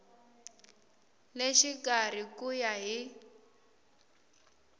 le xikarhi ku ya hi